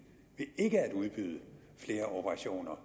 ved ikke at udbyde flere operationer